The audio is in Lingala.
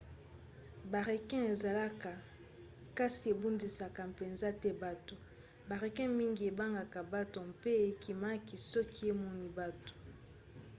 barequins ezalaka kasi ebundisaka mpenza te bato. barequin mingi ebangaka bato mpe ekimaka soki emoni bato